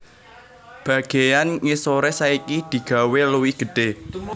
Bagéyan ngisoré saiki digawé luwih gedhé